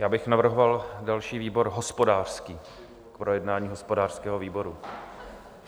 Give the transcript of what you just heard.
Já bych navrhoval další výbor hospodářský, k projednání hospodářskému výboru.